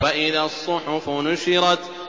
وَإِذَا الصُّحُفُ نُشِرَتْ